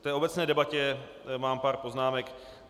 K té obecné debatě mám pár poznámek.